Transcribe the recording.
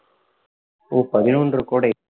ஓ பதினொன்று கோடை